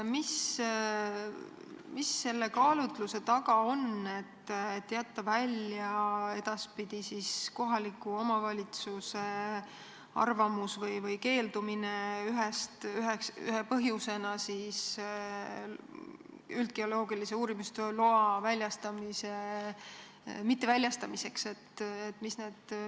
Mis selle kaalutluse taga on, et jätta edaspidi välja kohaliku omavalitsuse arvamus või keeldumine üldgeoloogilise uurimistöö loa mitteväljastamise põhjuste seast?